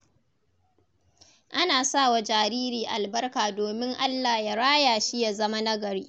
Ana sa wa jariri albarka domin Allah ya raya shi ya zama nagari.